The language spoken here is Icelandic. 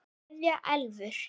Kveðja Elfur.